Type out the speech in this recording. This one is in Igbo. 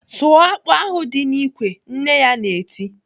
"Sụọ akpụ ahụ dị n'ikwe!" Nne ya na-eti.